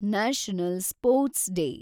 national sports day